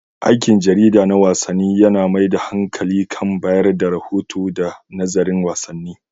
Aikin jarida na wasanni yAna mai da hankali kan bayar da rahoto da nazarin wasanni